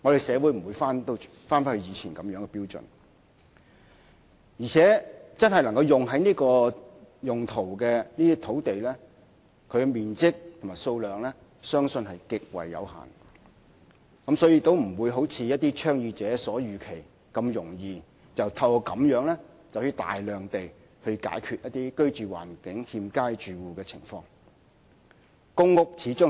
社會不能倒退，再度採用當年的標準，因此真的能用作興建過渡性房屋的土地的面積和數量相信極為有限，不會如一些倡議者所言，透過此安排便能輕易解決居住環境欠佳的住戶的問題。